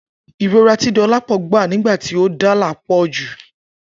Irora ti Dolapo gba nigba ti o dala po ju.